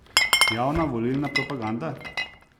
Javna volilna propaganda?